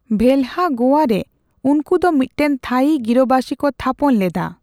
ᱵᱷᱮᱞᱦᱟ ᱜᱳᱣᱟ ᱨᱮ ᱩᱱᱠᱩ ᱫᱚ ᱢᱤᱫᱴᱮᱱ ᱛᱷᱟᱹᱭᱤ ᱜᱤᱨᱟᱹᱵᱟᱹᱥᱤ ᱠᱚ ᱛᱷᱟᱯᱚᱱ ᱞᱮᱫᱟ ᱾